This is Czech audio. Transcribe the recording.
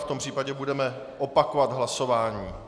V tom případě budeme opakovat hlasování.